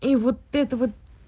и вот это вот